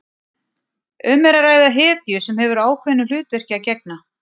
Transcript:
Um er að ræða hetju sem hefur ákveðnu hlutverki að gegna.